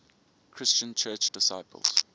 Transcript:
christian church disciples